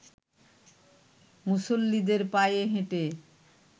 মুসল্লিদের পায়ে হেঁটে